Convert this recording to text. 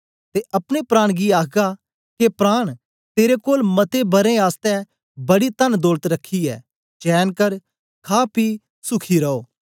ते अपने प्राण गी आख्गा के प्राण तेरे कोल मते बरें आसतै बड़ी तनदौलत रखी ऐ चैन कर खा पी सूखी रोह